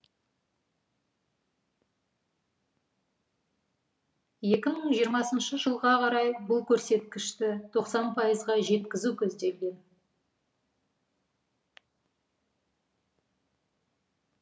екі мың жиырмасыншы жылға қарай бұл көрсеткішті тоқсан пайызға жеткізу көзделген